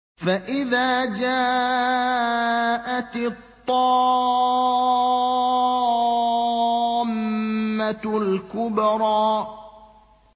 فَإِذَا جَاءَتِ الطَّامَّةُ الْكُبْرَىٰ